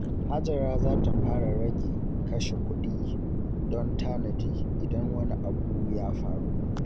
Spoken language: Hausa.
Hajara za ta fara rage kashe kuɗi don tanadi idan wani abu ya faru.